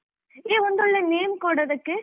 A ಒಂದೊಳ್ಳೆ name ಕೊಡ್ ಅದ್ಕೆ.